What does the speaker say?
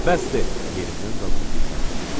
Bəsdir, yerimdən qalxıb dilləndim.